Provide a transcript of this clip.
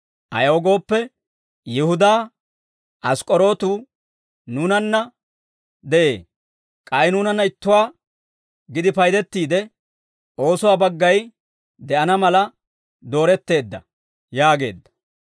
Ayaw gooppe, Yihudaa Ask'k'orootu nuunanna de'ee; k'ay nuunanna ittuwaa gidi paydettiide oosuwaa baggay de'ana mala dooretteedda» yaageedda.